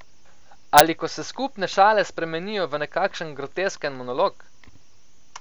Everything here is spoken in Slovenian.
Ali ko se skupne šale spremenijo v nekakšen grotesken monolog?